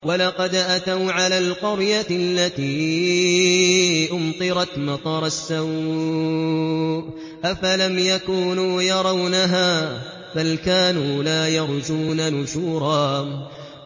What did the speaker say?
وَلَقَدْ أَتَوْا عَلَى الْقَرْيَةِ الَّتِي أُمْطِرَتْ مَطَرَ السَّوْءِ ۚ أَفَلَمْ يَكُونُوا يَرَوْنَهَا ۚ بَلْ كَانُوا لَا يَرْجُونَ نُشُورًا